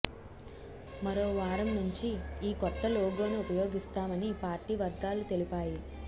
మరో వారం నుంచి ఈ కొత్త లోగోను ఉపయోగిస్తామని పార్టీ వర్గాలు తెలిపాయి